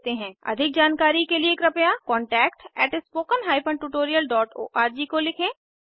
अधिक जानकारी के लिए कृपया contactspoken tutorialorg को लिखें